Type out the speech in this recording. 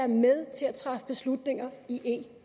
med til at træffe beslutninger i